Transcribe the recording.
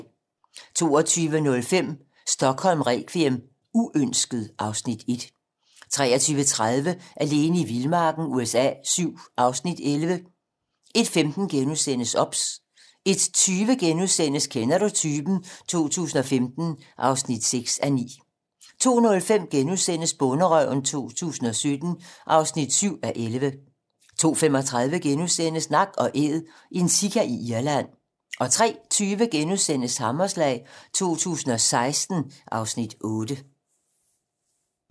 22:05: Stockholm requiem: Uønsket (Afs. 1) 23:30: Alene i vildmarken USA VII (Afs. 11) 01:15: OBS * 01:20: Kender du typen? 2015 (6:9)* 02:05: Bonderøven 2017 (7:11)* 02:35: Nak & æd - en sika i Irland * 03:20: Hammerslag 2016 (Afs. 8)*